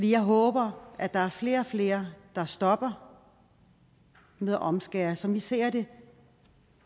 jeg håber at der er flere og flere der stopper med at omskære sådan som vi ser det